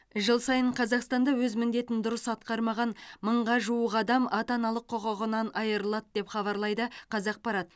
жыл сайын қазақстанда өз міндетін дұрыс атқармаған мыңға жуық адам ата аналық құқығынан айырылады деп хабарлайды қазақпарат